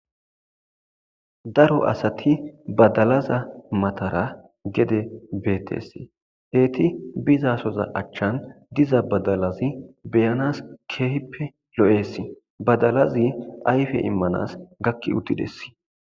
Daro asati badalaza matara gede betes eti bizasoza achan diza badalazi be'anas kehipe lo'es badalazi ayfe imanas gaki utides.